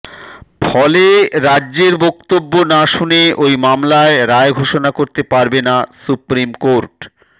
ফলে রাজ্যের বক্তব্য না শুনে ওই মামলায় রায় ঘোষণা করতে পারবে না সুপ্রিম কোর্ট